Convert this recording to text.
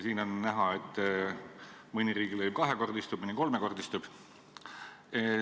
Siin on näha, et mõni riigilõiv kahekordistub, mõni kolmekordistub.